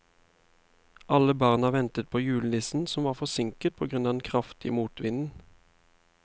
Alle barna ventet på julenissen, som var forsinket på grunn av den kraftige motvinden.